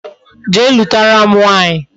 Jee lutara m nwaanyi